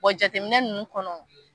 jateminɛ nunnu kɔnɔ